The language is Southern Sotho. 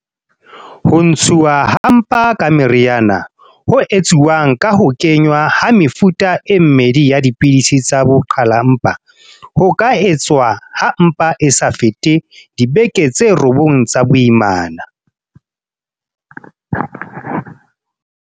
Ho ntshuwa ha mpa ka meriana, ho etsuwang ka ho kenngwa ha mefuta e mmedi ya dipidisi tsa ho qhala mpa, ho ka etswa ha mpa e sa fete dibeke tse robong tsa boimana.